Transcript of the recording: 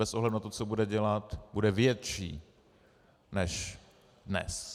Bez ohledu na to, co bude dělat, bude větší než dnes.